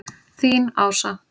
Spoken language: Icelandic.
Þín, Ása.